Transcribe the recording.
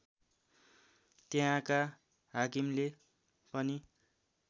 त्यहाँका हाकिमले पनि